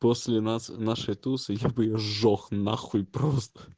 после нас нашей тусы я бы её сжёг нахуй просто